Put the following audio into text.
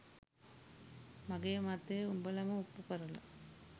මගේ මතය උඹලම ඔප්පු කරල